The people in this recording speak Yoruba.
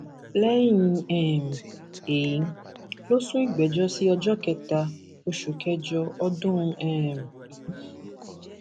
lẹyìn um èyí ló sún ìgbẹjọ sí ọjọ kẹta oṣù kẹjọ ọdún um yìí